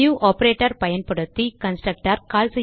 new operator பயன்படுத்தி constructor